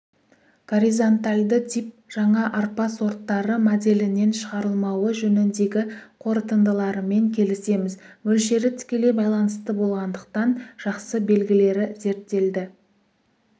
горизонтальды тип жаңа арпа сорттары моделінен шығарылмауы жөніндегі қорытындыларымен келісеміз мөлшері тікелей байланысты болғандықтан жақсы белгілері зерттелді